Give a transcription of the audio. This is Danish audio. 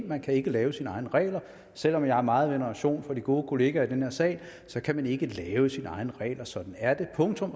man kan ikke lave sine egne regler selv om jeg har meget veneration for de gode kollegaer i den her sal kan man ikke lave sine egne regler sådan er det punktum